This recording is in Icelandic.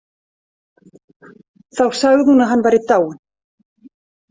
Þá sagði hún að hann væri dáinn.